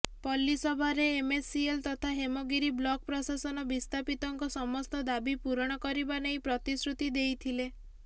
ପଲ୍ଲୀସଭାରେ MCL ତଥା Hemgiri block ପ୍ରଶାସନ ବିସ୍ଥାପିତଙ୍କ ସମସ୍ତ ଦାବି ପୂରଣ କରିବା ନେଇ ପ୍ରତିଶ୍ରୁତି ଦେଇଥିଲେ